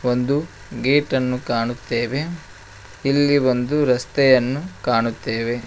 ಒಂದು ಗೇಟನ್ನು ಕಾಣುತ್ತೇವೆ ಇಲ್ಲಿ ಒಂದು ರಸ್ತೆಯನ್ನು ಕಾಣುತ್ತೇವೆ.